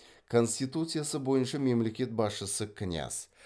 конституциясы бойынша мемлекет басшысы княз